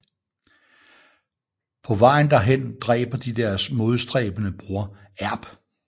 På vejen derhen dræber de deres modstræbende bror Erpr